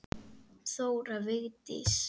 Þóra Vigdís.